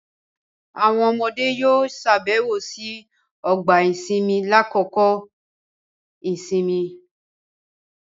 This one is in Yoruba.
Awọn ọmọde yoo ṣabẹwo si ọgba-isinmi lakoko isinmi